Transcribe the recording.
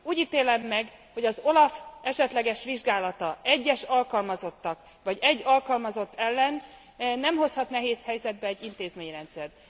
Úgy ítélem meg, hogy az OLAF esetleges vizsgálata egyes alkalmazottak, vagy egy alkalmazott ellen nem hozhat nehéz helyzetbe egy intézményrendszert.